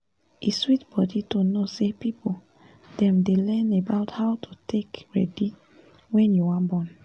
e sweet body to know say people dem dey learn about how to take dey ready wen u wan born